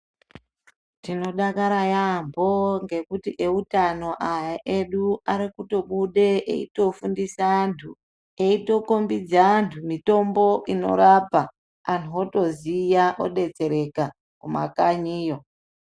Tinodakara yaampho ngekuti eutano aya edu ari kutobude eitofundisa anthu, eitokhombidza anhu mitombo inorapa, anhu otoziya ,odetsereka, kumakanyiyo.